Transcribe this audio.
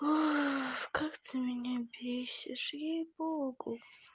как ты меня бесишь ей-богу